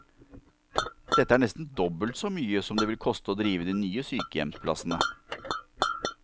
Dette er nesten dobbelt så mye som det vil koste å drive de nye sykehjemsplassene.